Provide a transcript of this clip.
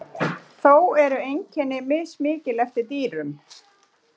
þó eru einkenni mismikil eftir dýrum